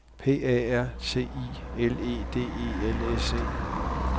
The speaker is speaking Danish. P A R T I L E D E L S E